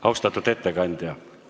Austatud ettekandja!